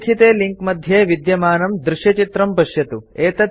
अधोलिखिते link मध्ये विद्यमानं दृश्यचित्रं पश्यन्तु